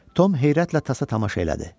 Tom heyrətlə tasa tamaşa elədi.